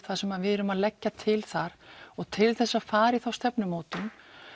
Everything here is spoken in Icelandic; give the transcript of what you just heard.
þar sem að við erum að leggja til þar og til þess að fara í þá stefnumótun